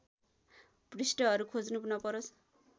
पृष्ठहरू खोज्नु नपरोस्